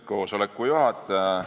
Lugupeetud juhataja!